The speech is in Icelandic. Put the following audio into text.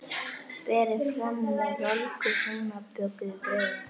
Berið fram með volgu heimabökuðu brauði.